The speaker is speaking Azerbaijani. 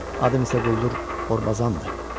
Adım isə quldur Orbazandır.